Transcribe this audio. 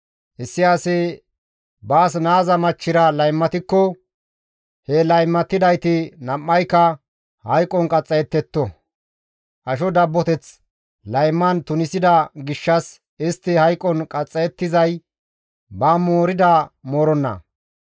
Issi asi baas naaza machchira laymatikko he laymatidayti nam7ayka hayqon qaxxayettetto; asho dabboteth layman tunisida gishshas istti hayqon qaxxayettizay ba moorida mooronna.